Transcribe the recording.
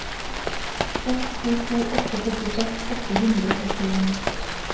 seks to to åtte førtiseks åtte hundre og trettien